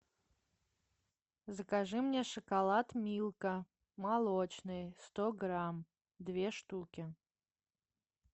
закажи мне шоколад милка молочный сто грамм две штуки